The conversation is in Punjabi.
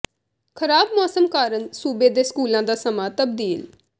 ਖ਼ਰਾਬ ਮੌਸਮ ਕਾਰਨ ਸੂਬੇ ਦੇ ਸਕੂਲਾਂ ਦਾ ਸਮਾਂ ਤਬਦੀਲ